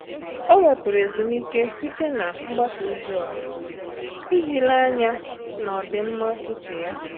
Ọ́ wèpụ̀rụ̀ ezumike site na mgbasa ozi ọha iji léé ányá n’ọ́dị́mma úchè ya.